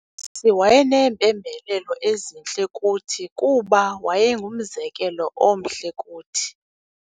Usisi wayeneempembelelo ezintle kuthi kuba wayengumzekelo omhle kuthi.